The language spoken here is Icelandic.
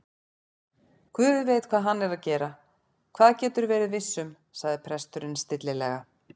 Guð veit hvað hann er að gera, það geturðu verið viss um- sagði presturinn stillilega.